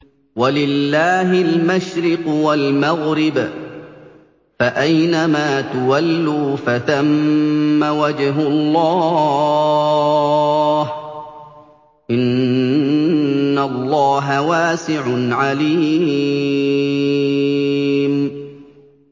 وَلِلَّهِ الْمَشْرِقُ وَالْمَغْرِبُ ۚ فَأَيْنَمَا تُوَلُّوا فَثَمَّ وَجْهُ اللَّهِ ۚ إِنَّ اللَّهَ وَاسِعٌ عَلِيمٌ